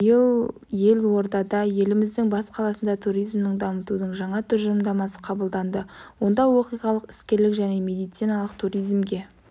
биыл елордада еліміздің бас қаласында туризмді дамытудың жаңа тұжырымдамасы қабылданды онда оқиғалық іскерлік және медициналық туризмге